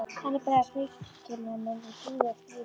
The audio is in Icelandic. Þannig bregðast mikilmennin við blíðu og stríðu.